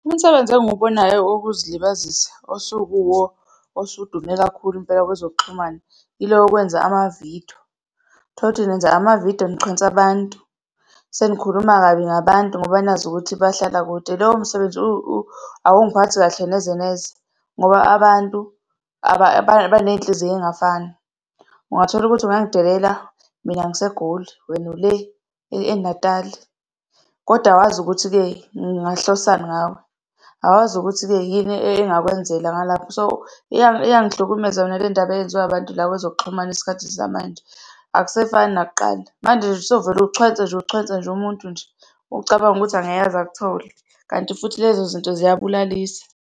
Umsebenzi engiwubonayo wokuzilibazisa osukuwuwo osudume kakhulu impela kwezokuxhumana, yilo wokwenza amavidiyo. Tholukuthi nenza amavidiyo, nichwensa abantu, senikhuluma kabi ngabantu ngoba nazi ukuthi bahlala kude. Lowo msebenzi awungiphathi kahle neze neze, ngoba abantu banezinhliziyo ey'ngafani. Ungatholukuthi ungangidelela mina ngiseGoli wena ule eNatali, kodwa awazi ukuthi-ke ngingahlosani ngawe, awazi ukuthi-ke yini engakwenzela ngalapho. So, iyangihlukumeza mina lendaba eyenziwa abantu la kwezokuxhumana isikhathi samanje, akusefani nakuqala. Manje sowuvele uchwense nje ucwhense nje umuntu nje, ucabange ukuthi angeke aze akuthole kanti futhi lezo zinto ziyabulalisa.